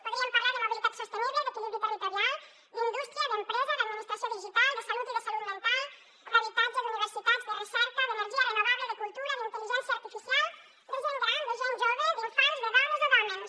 podríem parlar de mobilitat sostenible d’equilibri territorial d’indústria d’empresa d’administració digital de salut i de salut mental d’habitatge d’universitats de recerca d’energia renovable de cultura d’intel·ligència artificial de gent gran de gent jove d’infants de dones o d’hòmens